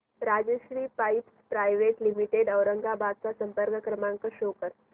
Rajshri pipes private limited Aurangabad चा संपर्क क्रमांक शो कर